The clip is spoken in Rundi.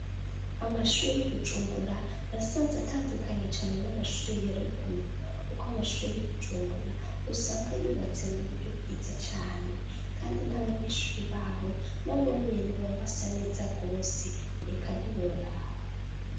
Amashure y'i Bujumbura nasanze atandukanye cane n'amashure ya ruguru kuko amashure y'i Bujumbura usanga yubatse mu buryo bwiza cane kandi n'abanyeshure baho nabo nyene baba basa neza rwose eka ntiworaba!